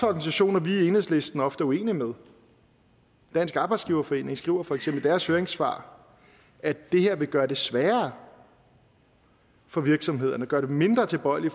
organisationer vi i enhedslisten ofte er uenige med dansk arbejdsgiverforening skriver for eksempel i deres høringssvar at det her vil gøre det sværere for virksomhederne og gøre dem mindre tilbøjelige